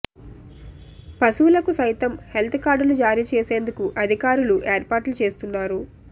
పశువులకు సైతం హెల్త్ కార్డులు జారీ చేసేందుకు అధికారులు ఏర్పాట్లు చేస్తున్నారు